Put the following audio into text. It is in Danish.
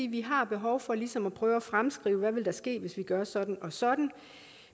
vi har behov for ligesom at prøve at fremskrive hvad der vil ske hvis vi gør sådan og sådan